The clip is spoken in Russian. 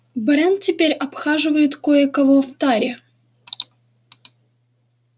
брент теперь обхаживает кое-кого в таре